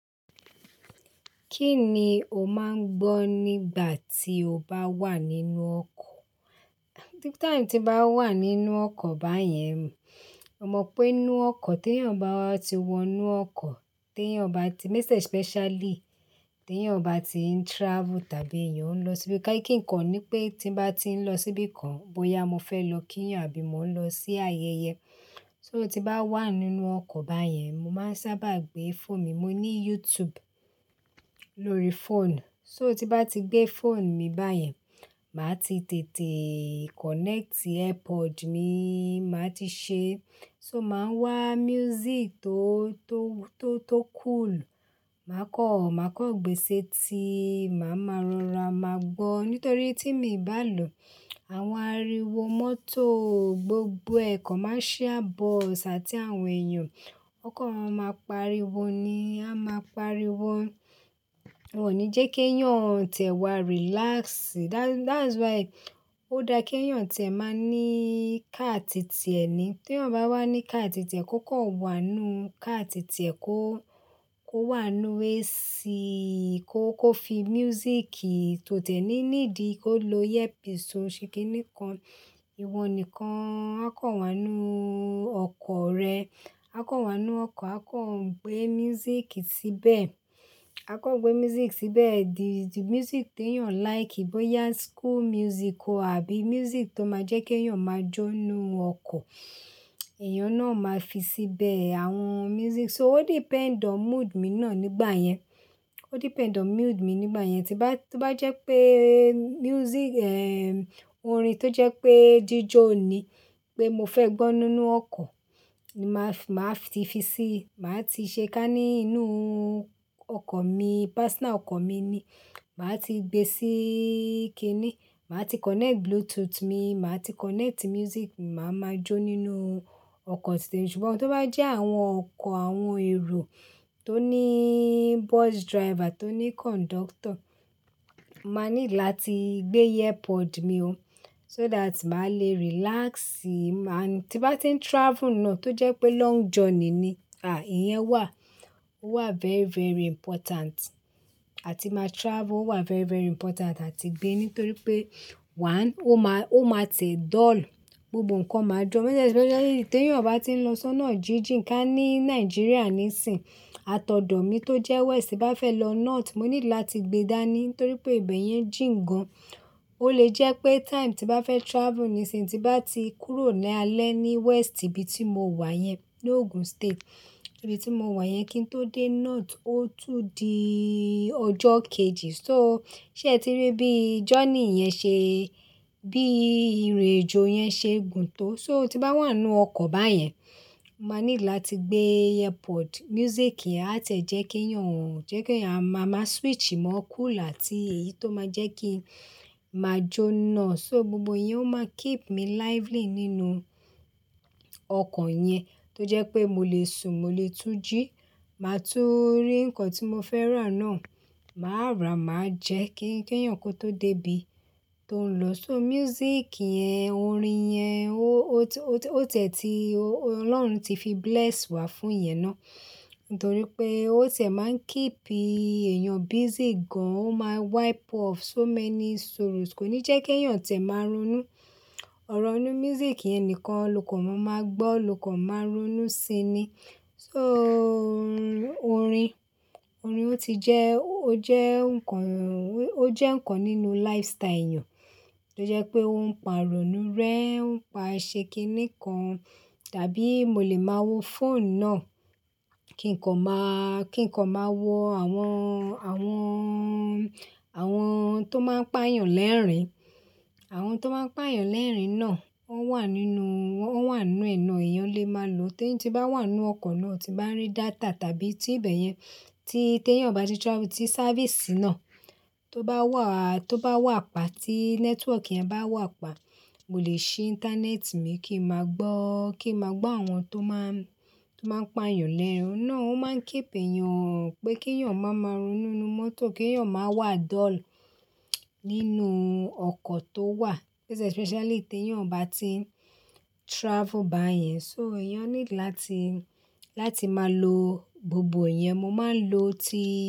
Kí ni o máa ń gbọ́ nígbà tí o bá wà nínú ọkọ̀? Time tí bá wà nínú ọkọ̀ bá yẹn, mo mọ pé inú ọkọ̀ tí èèyàn bá ti wọ inú ọkọ̀, tí èèyàn bá ti most especially tí èèyàn bá ti ń travel tàbí èèyàn ń lọ síbi kankan. Kí nǹkan ni pé tí bá ti ń lọ síbi kan, bóyá mo fẹ́ lọ kíyàn àbí mo ń lọ sí ayẹyẹ. So, tí bá wà nínú ọkọ̀ bá yẹn, mo máa ń sábà gbé phone mi. Mo ní YouTube lórí phone. So tí bá ti gbé phone mi báyẹn, màá ti tètè connect earpod mi, màá ti ṣe. So màá wa music tó, tó, tó, tó cool. Màá kọ, màá kọ gbèsè ti màá máa ń rora màá gbọ́. Nítorí tí mi bà á lọ, àwọn ariwo mọ́tò, gbogbo ẹ̀ commercial bus àti àwọn èèyàn, wọn kan ma máa pariwo ni, a máa pariwo. Kò ní jẹ́ kí èèyàn t'ẹ̀wá relax. That, that's why ó dáa kí èèyàn tẹ̀ má ní car titẹ̀ ni. Tí èèyàn bá wà ní car ti ti e, kó kọ wà ní car ti ti e. Kó, kó wà ní AC. Kó, kó fi music tó tẹ̀ ní need Kó lo earpiece o ṣe kíni kan. Ìwọ nìkan. Á kan wà nínu ọkọ̀ rẹ. Á kan wà ní ọkọ̀. Á kọ gbé music síbẹ̀. Á kọ gbé music síbẹ̀. The, the music tí èèyàn like. Bóyá school music o àbí music tó máa jẹ́ kí èèyàn máa jó inú ọkọ̀, èèyàn náà máa fi síbẹ̀ àwọn music. So o depend on mood mi náà nígbà yẹn. O depend on mood mi nígbà yẹn. Tí bá, tí bá jẹ́ pé music eh-- orin tó jẹ́ pé jíjó ni pé mo fẹ́ gbọ́ nínú ọkọ̀, ni màá fi, màá fi ti sí. Màá ti ṣe ká ní inú ọkọ̀ mi. Personal ọkọ̀ mi ni. Màá ti gbe sí kíni. Màá ti connect bluetooth mi. Màá ti connect music mi. Màá máa jó nínú ọkọ̀ tìtemi, Ṣùgbọ́n tó bá jẹ́ àwọn ọkọ̀, àwọn èrò tó ní bus driver, tó ní conductor, màá need láti gbé earpod mi ó. So that màá le relax. Ma tí bá ti ń travel náà tó jẹ́ pé long journey ni, à, ìyẹn wà. Ó wà very, very important. Àti máa travel ó wà very, very important láti gbé. Nítorí pé one, ó máa, ó máa ti ẹ̀ dull. Gbogbo ǹkan máa joo Especially tí èèyàn bá ti ń lọ sọ́nà jíjìn. Ká ní Nigeria nísìnyí, àtọ̀dọ̀ mi tó jẹ́ West bá fẹ́ lọ North, mo need láti gbe dáa ni. Nítorí pé ibẹ̀ yẹn jìn gan. Ó lè jẹ́ pé time tí bá fẹ́ travel nísìnyí, tí bá ti kúrò ní alẹ́ ní West ibi tí mo wà yẹn ní Ogun State, ibi tí mo wà yẹn kí n tó dé North, ó tún di ọjọ́ kejì. So, ṣé ẹ ti rí bí journey yẹn ṣe Bí irinàjò yẹn ṣe gùn tó. So tí bá wà nínú ọkọ̀ bá yẹn, màá need láti gbé earpod. Music á tẹ̀ jẹ́ kí èèyàn, jẹ́ kí èèyàn, màá, màá switch. Màá cool àti èyí tó máa jẹ́ kí màá jó náà. So gbogbo iyẹn ó máa keep me lively nínú ọkọ̀ yẹn. Tó jẹ́ pé mo lè sùn, mo lè tú jí. Màá tún rí ǹkan tí mo fẹ́ rà náà. Màá rà, màá jẹ́ kí, kí èèyàn kó tó dé ibi tó ń lọ. So music yẹn, orin yẹn, ó, ó tẹ̀, ó tẹ̀ tí Ọlọ́run ti fi bless wá fún ìyẹn náà. Nítorí pé ó tẹ̀ máa ń keep èèyàn busy gan. Ó máa wipe off so many sorrows. Kò ní jẹ́ kí èèyàn tẹ̀ máa ronú. Ọ̀rọ̀ inú music yẹn nìkan lọkàn wọn máa gbọ́, lọkàn wọn máa ronú síi ni. So orin, orin ó ti jẹ́, ó jẹ́ ǹkan, ó jẹ́ ǹkan nínú lifestyle èèyàn. Tó jẹ́ pé ó ń pa ìrònú rẹ, ó ń pa ṣe kíni kan. Tàbí mo lè máa wo phone náà, kí ǹkan máa, kí ǹkan máa wo àwọn, àwọn, àwọn tó máa ń pá èèyàn lẹ́rìn-ín. Àwọn tó máa ń pá èèyàn lẹ́rìn-ín náà, wọ́n wà nínú, wọ́n wà nínú inue na, èèyàn lè máa lò. Tí, tí bá wà nínú ọkọ̀ náà, tí bá rí data tàbí tí ibẹ̀ yẹn, tí, tí èèyàn bá ti travel, tí safiiìsì náà tó bá wà, tó bá wà pa, tí network yẹn bá wà pa, mo lè ṣí íńtánẹ́ẹ̀tì mi kí n máa gbọ́, kí n máa gbọ́ àwọn tó máa, tó máa ń pá èèyàn lẹ́rìn-ín náà. Ó máa ń keep èèyàn pé kí èèyàn máa máa ronú nínú mọ́tò, kí èèyàn máa wà dull nínú ọkọ̀ tó wà. Most especially tí èèyàn bá ti travel bá yẹn. So èèyàn need láti, láti máa lo gbogbo iyẹn. Mo máa ń lo ti.